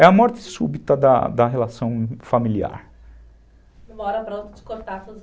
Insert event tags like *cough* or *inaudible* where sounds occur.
É a morte súbita da da relação familiar. Uma hora *unintelligible*